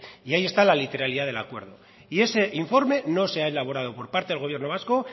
y ahí está la literalidad del acuerdo y ese informe no se ha elaborado por parte del gobierno vasco